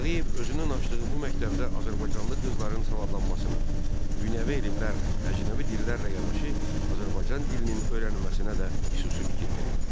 Tağıyev özünün açdığı bu məktəbdə azərbaycanlı qızların savadlanmasına, dünyəvi elmlərlə, əcnəbi dillərlə yanaşı Azərbaycan dilinin öyrənilməsinə də xüsusi fikir verirdi.